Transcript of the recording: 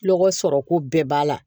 Lɔgɔ sɔrɔ ko bɛɛ b'a la